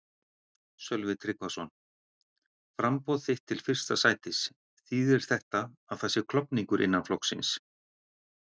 Sölvi Tryggvason: Framboð þitt til fyrsta sætis, þýðir þetta að það sé klofningur innan flokksins?